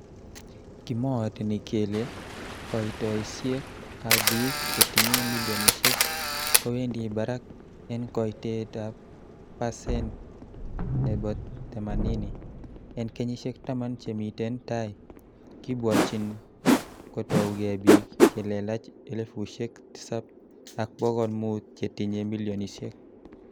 Kimooteni kele koitosiek ab bik che tinye milionisiek kowendi barak en koitet ab parsen nebo themanini, en kenyisiek taman che miten tai, Kibwotyin kotouge bik che lelach elfusiek tisab ak bokol mut chetinye milionisiek.